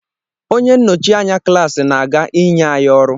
Onye nnọchi anya klaasị na-aga inye anyị ọrụ.